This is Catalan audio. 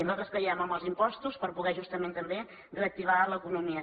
nosaltres creiem en els impostos per poder justament també reactivar l’economia